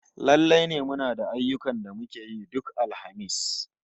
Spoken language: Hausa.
Lallai ne muna da ayyukan da muke yi duk Alhamis